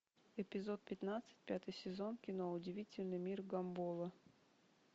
эпизод пятнадцать пятый сезон кино удивительный мир гамбола